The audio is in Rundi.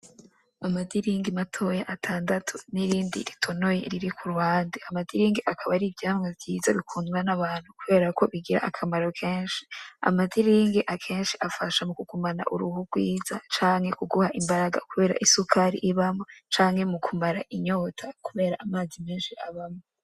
Amadiringi matoya atandatu n'irindi ritonoye riri ku ruhande. Amadiringi akaba ari ivyamwa vyiza bikundwa n'abantu kubera ko bigira akamaro kenshi. Amadiringi akenshi afasha mu kugumana uruhu rwiza canke mu kuguha imbaraga kubera isukari ibamwo, canke mu kumara inyota kubera amazi menshi abamwo.